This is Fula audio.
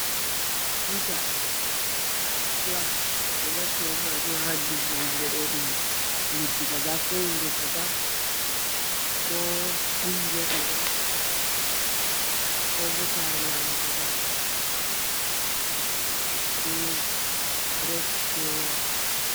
Tutah flag ɓe ɗo naftora be majum ha leddi kaza ko wuro kaza ko kungiya kaza ko sare lamu kaza ndaɗum white be red be white